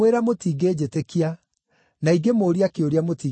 na ingĩmũũria kĩũria, mũtingĩnjokeria.